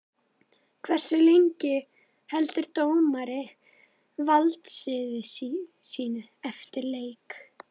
Hversu lengi heldur dómari valdsviði sínu eftir leik?